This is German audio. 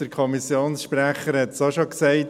Der Kommissionssprecher hat es auch schon gesagt.